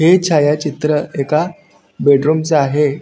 हे छायाचित्र एका बेडरूमच आहे.